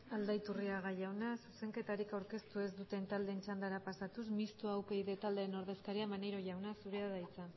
aldaiturriaga jaunak zuzenketari aurkeztu dizuten taldeen txandara pasatuz mistoa upyd taldearen ordezkaria maneiro jaunak zurea da hitza